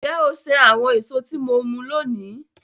Nje o sen awon eso ti mo mu loni?